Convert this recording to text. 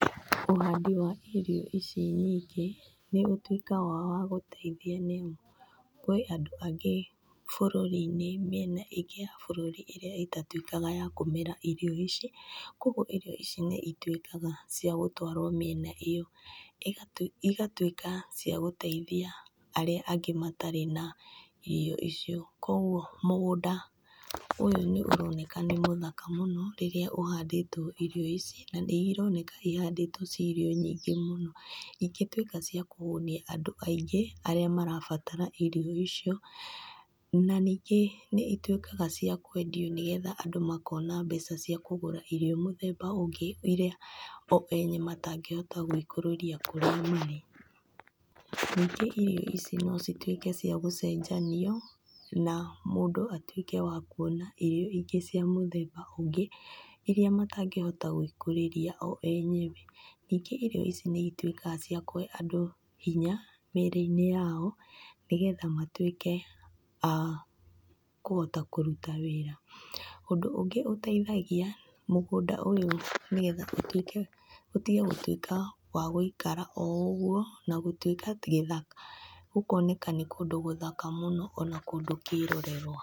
Ũhandi wa irio ici nyingĩ, nĩ ũtuĩkaga wa gũteithia nĩamu, kũrĩ andũ angĩ bũrũri-inĩ mĩena ingĩ ya bũrũri ĩrĩa ĩtatuĩkaga ya kũmera irio ici, koguo irio ici nĩcituĩkaga cia gũtwarwo mĩena ĩyo, igatuĩka cia gũteithia arĩa angĩ matarĩ na, irio icio. Koguo mũgũnda, ũyũ nĩ ũroneka nĩ mũthaka mũno rĩrĩa ũhandĩtwo irio ici, na nĩ ironeka ihandĩtwo ciĩ irio nyingĩ mũno, na ingĩtuĩka cia kũhũnia andũ aingĩ arĩa marabatara irio icio. Na ningĩ nĩituĩkaga cia kwendio nĩgetha andũ makona mbeca cia kũgũra irio mũthemba ũngĩ ĩrĩa o ene matangĩhota gwĩkũrĩria kũrĩa marĩ. Ningĩ irio ici no cituĩke cia gũcenjanio na mũndũ atuĩke wa kuona irio ingĩ cia mũthemba ũngĩ, iria matangĩhota gwĩkũrĩria o enyewe. Ningĩ irio ici nĩcituĩkaga cia kũhe andũ hinya mĩrĩ-inĩ yao, nĩgetha matuĩke a, kũhota kũruta wĩra. Ũndũ ũngĩ ũteithagia, mũgũnda ũyũ nĩgetha ũtige gũtuĩka wa gũikara o ũguo, na gũtuĩka gĩthaka gũkoneka nĩ kũndũ gũthaka mũno ona kũndũ kĩrorerwa.